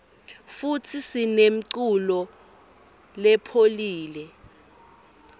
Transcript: futsi sinemuculo lepholile